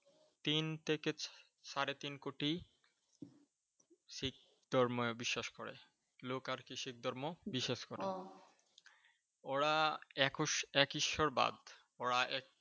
তিন থেকে সাড়ে তিন কোটি। শিখ ধর্মে বিশ্বাস করে। লোক আরকি শিখ ধর্ম বিশ্বাস করে ওরা এক ঈশ্বরবাদ ওরা